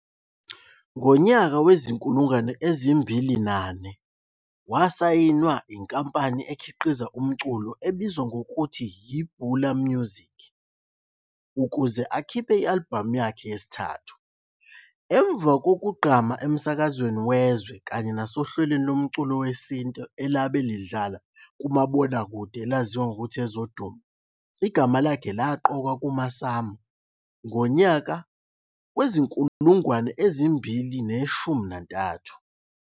Ngonya wezi-2004 wasayinwa yinkampani ekhiqiza umculo ebizwa ngokututhi yi-Bula Music ukuze akhiphe i-alibhamu yakhe yesithatthu. Emva kukuqgama emsakweni wezwe kanye nasohlwelweni lomculo wesintu elabe lidlala kumabonakude alizawa ngokuthi Ezodumo, igama lakhe laqokwa kuma-"SAMA" ngonyaka wezi-2013.